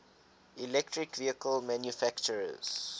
electric vehicle manufacturers